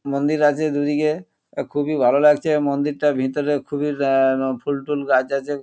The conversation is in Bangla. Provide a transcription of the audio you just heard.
মন্দির আছে দুদিকে খুবই ভালো লাগছে মন্দিরটার ভিতরে খুবই আহ ফুল টুল গাছ আছে।